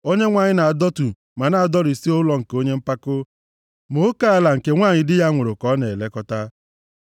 Onyenwe anyị na-adọtu ma na-adọrisi ụlọ nke onye mpako, ma oke ala nke nwanyị di ya nwụrụ ka ọ na-elekọta.